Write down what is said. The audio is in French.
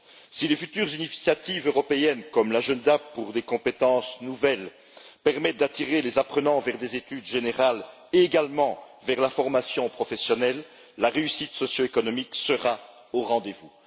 Si les futures initiatives européennes, comme l'Agenda pour des compétences nouvelles pour l'Europe, permettent d'attirer les apprenants vers des études générales et également vers la formation professionnelle, la réussite socio-économique sera au rendez-vous.